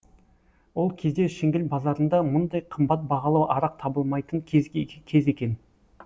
ол кезде шіңгіл базарында мұндай қымбат бағалы арақ табылмайтын кез екен